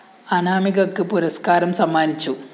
അനാമികക്ക് പുരസ്‌കാ രം സമ്മാനിച്ചു